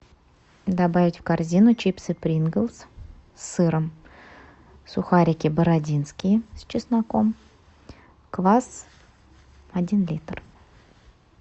добавить в корзину чипсы принглс с сыром сухарики бородинские с чесноком квас один литр